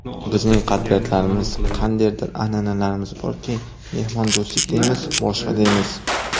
Bizning qadriyatlarimiz, qandaydir an’analarimiz borki, mehmondo‘stlik deymiz, boshqa deymiz.